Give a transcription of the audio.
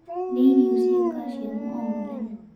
Rĩa irio cia kaciamu o mũthenya